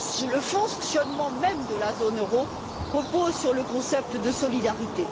Le fonctionnement même de la zone euro repose sur le concept de solidarité.